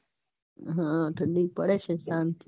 હા ઠંડી પડે છે શાંતિ